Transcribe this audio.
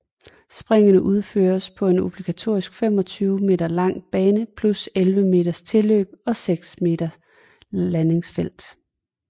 Springene udføres på en obligatorisk 25 meter lang bane plus 11 meters tilløb og 6 meter landingsfelt